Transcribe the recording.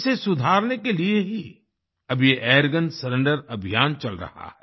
इसे सुधारने के लिए ही अब ये एयरगन सरेंडर अभियान चल रहा है